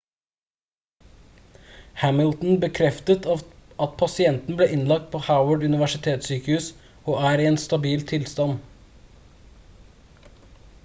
hamilton bekreftet at pasienten ble innlagt på howard universitetssykehus og er i en stabil tilstand